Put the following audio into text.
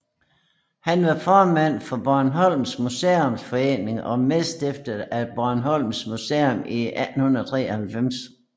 Han var formand for Bornholms Museumsforening og medstifter af Bornholms Museum i 1893